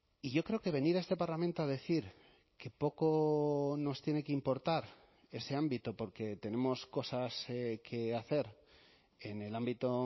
y yo creo que venir a este parlamento a decir que poco nos tiene que importar ese ámbito porque tenemos cosas que hacer en el ámbito